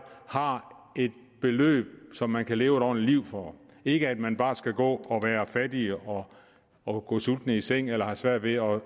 har et beløb som man kan leve et ordentligt liv for og ikke at man bare skal gå og være fattig og og gå sulten i seng eller have svært ved at